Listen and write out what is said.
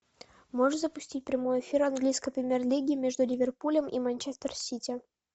можешь запустить прямой эфир английской премьер лиги между ливерпулем и манчестер сити